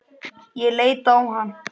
Ég leit á hann.